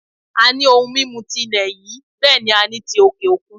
A ní ohun mímu ti ilẹ̀ yìí bẹ́ẹ̀ ni a ní ti òkè òkun